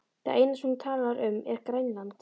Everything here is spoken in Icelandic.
Það eina sem hún talar um er Grænland.